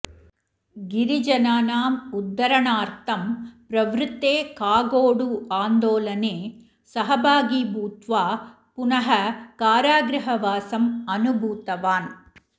गिरिजनानाम् उद्धरणार्थं प्रवृत्ते कागोडु आन्दोलने सहभागी भूत्वा पुनः कारागृहवासम् अनुभूतवान्